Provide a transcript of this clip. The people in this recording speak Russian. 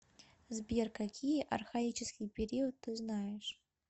сбер какие архаический период ты знаешь